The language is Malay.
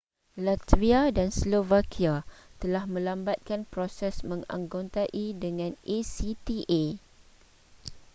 latvia dan slovakia telah melambatkan proses menganggotai dengan acta